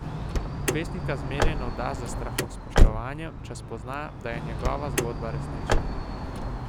Pesnika zmeraj navda s strahospoštovanjem, če spozna, da je njegova zgodba resnična.